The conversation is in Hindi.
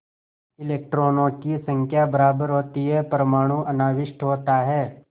इलेक्ट्रॉनों की संख्या बराबर होती है परमाणु अनाविष्ट होता है